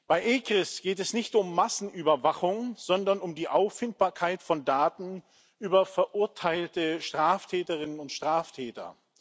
Bei ECRIS geht es nicht um Massenüberwachung, sondern um die Auffindbarkeit von Daten über verurteilte Straftäterinnen und Straftäter.